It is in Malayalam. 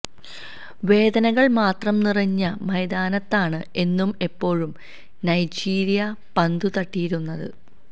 വേദനകൾ മാത്രം നിറഞ്ഞ മൈതാനത്താണ് എന്നും എപ്പോഴും നൈജീരിയ പന്തുതട്ടിയിരുന്നത്